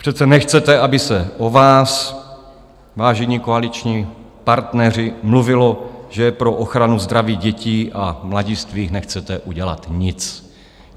Přece nechcete, aby se o vás, vážení koaliční partneři, mluvilo, že pro ochranu zdraví dětí a mladistvých nechcete udělat nic.